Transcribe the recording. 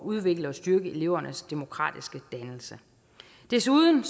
udvikle og styrke elevernes demokratiske dannelse desuden